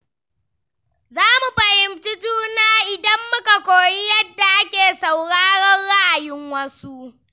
Za mu fahimci juna idan muka koyi yadda ake sauraron ra’ayin wasu.